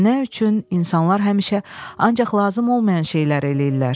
Nə üçün insanlar həmişə ancaq lazım olmayan şeylər eləyirlər?